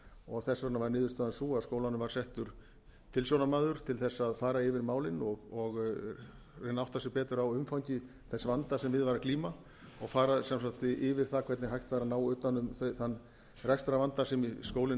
og þess vegna var niðurstaðan sú að skólanum var settur tilsjónarmaður til þess að fara yfir málin og reyna að átta sig betur á umfangi þess vanda sem við var að glíma og fara sem sagt yfir það hvernig hægt væri að ná utan um þann rekstrarvanda sem skólinn